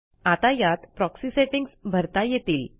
आता यात proxy settings भरता येतील